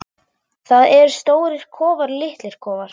Það eru stórir kofar og litlir kofar.